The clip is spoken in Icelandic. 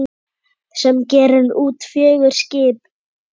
sem gerir út fjögur skip.